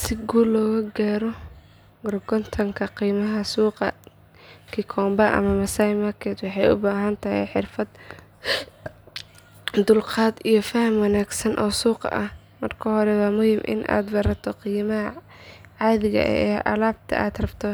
Si guul leh u gorgortanka qiimaha suuqa Gikomba ama Masaai Market waxay u baahan tahay xirfad, dulqaad iyo faham wanaagsan oo suuqa ah. Marka hore waa muhiim in aad barato qiimaha caadiga ah ee alaabta aad rabto